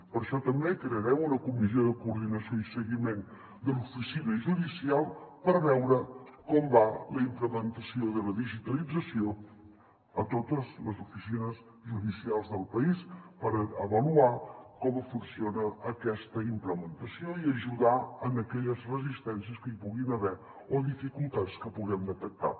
per això també crearem una comissió de coordinació i seguiment de l’oficina judicial per veure com va la implementació de la digitalització a totes les oficines judicials del país per avaluar com funciona aquesta implementació i ajudar en aquelles resistències que hi puguin haver o dificultats que puguem detectar